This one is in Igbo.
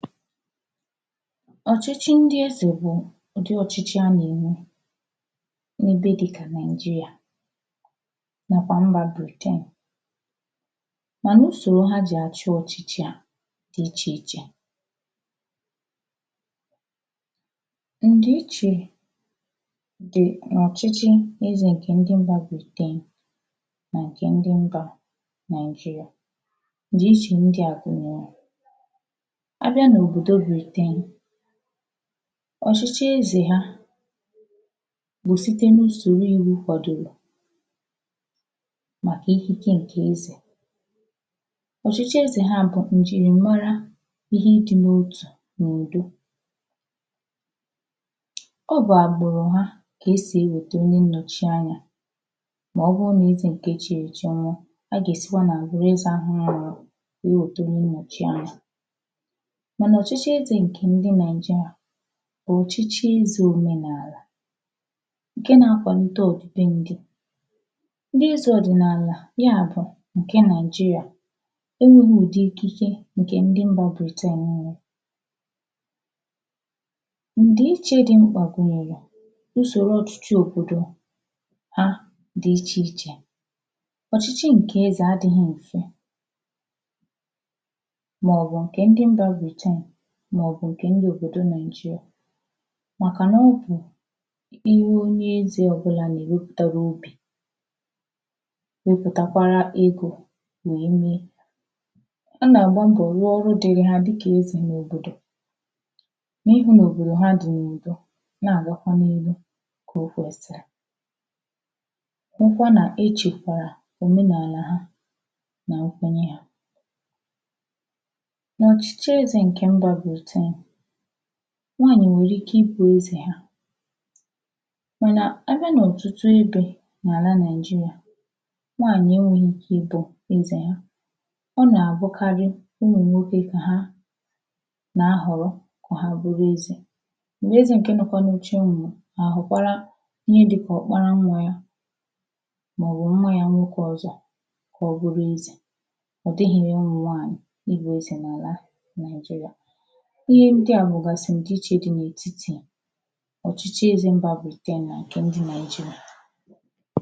ọ̀chịchị ndi ezè bụ̀ ụ̀dị ọ̀chịchị a nà-ènwe n’ebe dịkà Naìjirà nàkwà mbà bèkee mà usòrò ha jì àchị ọ̀chịchị a di ichèichè ǹdi ichè di n’ọ̀chịchị ezè ǹkè ndi mbà Britain nà ǹkè ndi mbà Naị̀jịrà ǹdi ichè ndia gùnyèrè a bịa n’òbòdò Britain ọ̀chịchị ezè ha nà-èsite n’ùsòrò ìwu kwàdòrò màkà ìkike ǹkè ezè ọ̀chịchị ezè ha bụ̀ ǹjìrìmara ihe i dī n’otụ̀ nà ùdo ọ bụ̀ àgbụ̀rụ̀ ha ka e sì ewète onye nnọ̀chi anyā mà ọ bụrụ nà ezè ǹkè echìrì èchi nwụọ a gà-èsikwa nà àgbụ̀rụ̀ ezè ahụ̀ nwụrụ ànwụ nwee wète onye nnọ̀chi anya mànà ọ̀chịchị ezè ǹkè ndi Naị̀jịrà bụ̀ ọ̀chịchị ezè òmenààlà ǹkè nà-akwàlite ọ̀dị̀be ndī ndi ezè ọ̀dị̀nààlà ya bụ̀ ǹkè Nàịjịrà e nwēghī ùdi ikike ǹkè ndi mbà Britain nwò ùdi ichè di mkpà gùnyèrè ùsòrò ọ̀chịchị òbòdò ha di ichèichè ọchịchị nke ezè adị̄ghị̄ m̀fe mà ọ bụ̀ ǹkè ndi mbà Britain mà ọ bụ̀ ǹkè ndi òbòdò Naị̀jịrà m̀akà na ọ bụ̀ ihe onye ezè ọ̀ bụ̀là nà-èwepụ̀tara obì wepùtakwara egō wee mee ha nà-àgba mbọ̀ rụọ ọrụ dịịrị ha dikà ezè n’òbòdò n’ihụ nà òbòdò di n’ùdo nà-àgakwa n’ihū ǹkè okwèsìrì hụkwa nà echèkwàrà òmenààlà ha nà nkwenye ha na ọ̀chịchị ezè ǹkè mbà Britain nwaanyì nwèrè ike ị bụ̀ ezè ha mànà abịa n’ọ̀tụtụ ebē n’àlà Naɪ̀jịrà nwaayị̀ enwēghī ike ịdọ̄ ezè ha ọ nà-àbụkarị ụmụ̀nwokē kà ha nà-ahọ̀rọ kà ha bụrụ ezè m̀gbè ezè ǹkè nọkwa n’oche nwụ̀rụ̀ a họ̀kwara ihe dikà ọkpara nwa ya màọbụ̀ nwa yā nwokē ọzọ̄ kà ọ bụrụ ezè ọ̀ dịghị̀ nwaanyị̀ bụ̀ ezè n’àlà Naị̀jịrà ihe bụ̀ghàsị̀ ǹdi ichè di n’ètitì ọ̀chịchị ezè mbà Britain nà ǹkè ndi Nàịjịrà